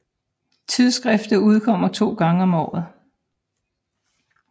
Tidsskriftet udkommer 2 gange om året